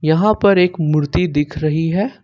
यहां पर एक मूर्ति दिख रही है।